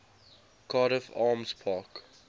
cardiff arms park